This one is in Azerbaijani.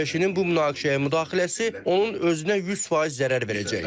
ABŞ-nin bu müdaxiləyə müdaxiləsi onun özünə 100% zərər verəcək.